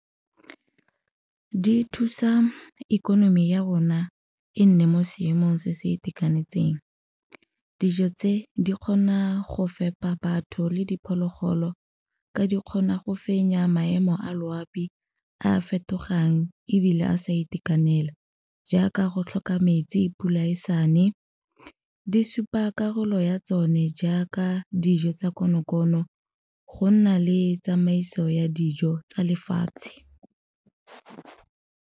Di thusa ikonomi ya rona e nne mo seemong se se itekanetseng. Dijo tse di kgona go fepa batho le diphologolo ka di kgona go fenya maemo a loapi a fetogang ebile a sa itekanela jaaka go tlhoka metsi pula e sa ne. Di supa karolo ya tsone jaaka dijo tsa konokono, go nna le tsamaiso ya dijo tsa lefatshe.